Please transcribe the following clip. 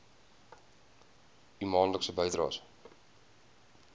u maandelikse bydraes